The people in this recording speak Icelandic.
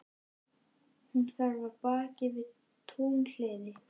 Hún þarf af baki við túnhliðið.